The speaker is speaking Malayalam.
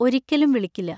ഒരിക്കലും വിളിക്കില്ല.